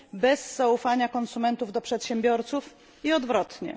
bez zaufania konsumentów do przedsiębiorców i odwrotnie.